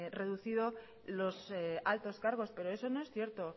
reducido los altos cargos pero eso no es cierto